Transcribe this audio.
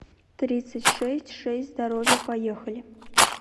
тридцать шесть шесть здоровье поехали